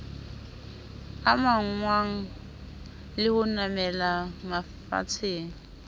amanngwang le ho namela mafatsheng